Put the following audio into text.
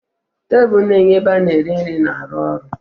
Tebụl na-enye ebe ana eri nri na ruo ọrụ.